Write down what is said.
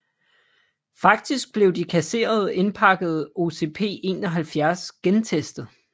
Faktisk blev de kasserede indpakkede OCP71 gentestet